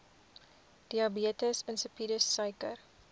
diabetes insipidus suiker